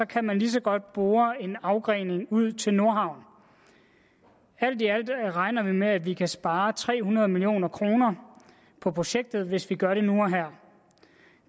kan man lige så godt bore en afgrening ud til nordhavn alt i alt regner vi med at vi kan spare tre hundrede million kroner på projektet hvis vi gør det nu og her